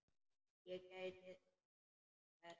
Ég gæti þess.